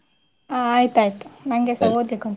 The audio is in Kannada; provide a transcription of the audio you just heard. ಆ ಆಯ್ತಾಯ್ತು ನಂಗೆಸಾ.